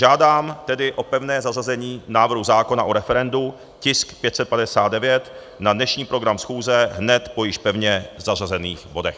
Žádám tedy o pevné zařazení návrhu zákona o referendu, tisk 559, na dnešní program schůze hned po již pevně zařazených bodech.